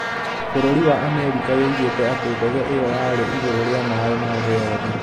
Bũrũri wa Amerika yoigĩte atĩ ndege ĩyo yarĩ igũrũ rĩa maĩ ma thĩ yothe.